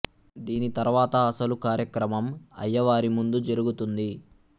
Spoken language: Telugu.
దీని తర్వాత అసలు కార్యక్రమం అయ్యవారి ముందు జరుగు తుంది